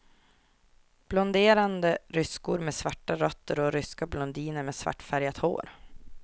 Blonderade ryskor med svarta rötter och ryska blondiner med svartfärgat hår.